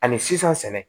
Ani sisan sɛnɛ